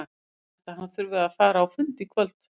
Ég held að hann þurfi að fara á fund í kvöld.